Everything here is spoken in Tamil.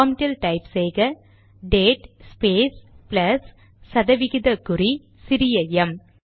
ப்ராம்ட்டில் டைப் செய்க டேட் ஸ்பேஸ் ப்ளஸ் சதவிகித குறி சிறிய எம்